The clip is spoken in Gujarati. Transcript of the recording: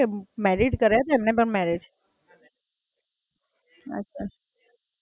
બરાબર, હાં એટલે સારું છે બંને જણા, ત્રણ જણ રહી શકો તમે